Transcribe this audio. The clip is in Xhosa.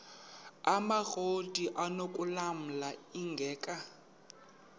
amakrot anokulamla ingeka